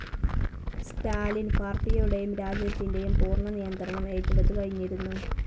സ്റ്റാലിൻ പാർട്ടിയുടേയും രാജ്യത്തിന്റേയും പൂർണ്ണ നിയന്ത്രണം ഏറ്റെടുത്തുകഴിഞ്നിരുന്നു.